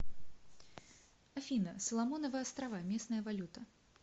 афина соломоновы острова местная валюта